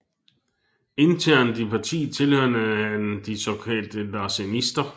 Internet i partiet tilhørte han de såkaldte larsenister